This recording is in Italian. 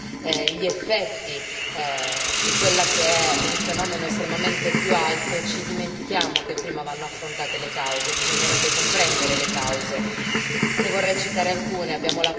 Mentre noi cerchiamo di curare gli effetti di quello che è un fenomeno estremamente più alto, ci dimentichiamo che prima vanno affrontate le cause, bisognerebbe comprendere le cause.